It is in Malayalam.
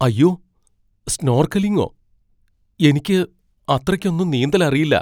അയ്യോ, സ്നോർക്കെലിങ്ങോ? എനിക്ക് അത്രയ്ക്കൊന്നും നീന്തൽ അറിയില്ല.